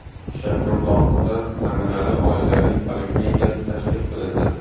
Shayxontohurda namunali oilaviy poliklinika tashkil qilindi.